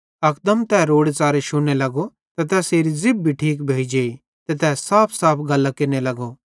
अकदम तै रोड़ेच़ारे शुन्ने लगो ते तैसेरी ज़िभ भी ठीक भोइ जेई ते तै साफसाफ गल्लां केरने लगो